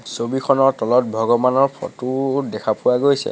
ছবিখনৰ তলত ভগৱানৰ ফটো দেখা পোৱা গৈছে।